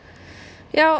já